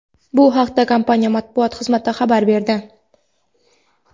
Bu haqda kompaniya Matbuot xizmati xabar berdi.